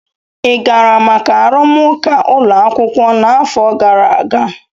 ị gara maka arụmụka ụlọ akwụkwọ n'afọ gara aga?